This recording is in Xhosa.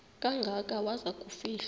kangaka waza kufihlwa